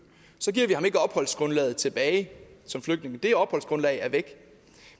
så giver vi ham ikke opholdsgrundlaget tilbage som flygtning det opholdsgrundlag er væk